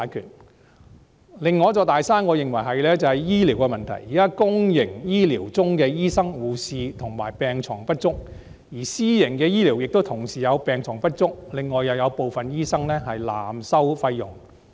我認為另一座"大山"是醫療的問題，現在公營醫療系統的醫生、護士及病床不足，而私營醫療病床亦不足，還有部分醫生濫收費用。